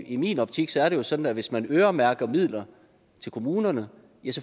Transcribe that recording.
i min optik er det sådan at hvis man øremærker midler til kommunerne